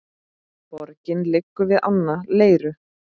Borgin liggur við ána Leiru.